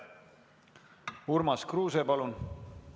Urmas Kruuse, palun!